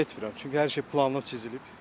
Vallah mən zənn etmirəm, çünki hər şey planla çizilib.